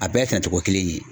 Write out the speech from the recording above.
A bɛɛ sɛnɛcogo kelen in ye.